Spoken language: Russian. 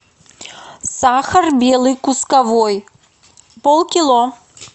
сахар белый кусковой полкило